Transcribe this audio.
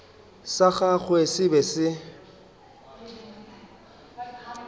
sa gagwe se be se